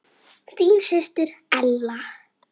Þín systir Ella.